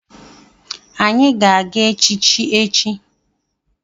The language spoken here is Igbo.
Anyị ga-aga echichi echi.